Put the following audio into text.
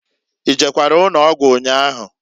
I jekwara ụnọgwụ nnyaahụ?